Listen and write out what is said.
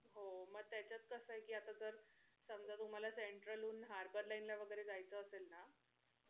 हो मग त्याच्यात कस आहे कि आता जर समजा तुम्हाला central हुन harbour line ला वैगेरे जायचं असेल ना,